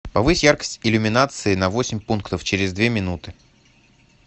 повысь яркость иллюминации на восемь пунктов через две минуты